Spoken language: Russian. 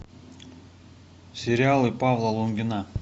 сериалы павла лунгина